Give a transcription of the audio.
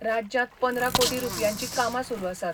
राज्यांत पंदरा कोटी रूपयांची कामां सुरू आसात.